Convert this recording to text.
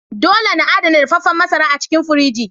Dole na adana dafefen masara a cikin firiji.